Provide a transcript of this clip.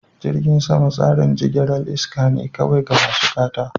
Jirgin sama tsarin jigilar iska ne kawai ga masu gata.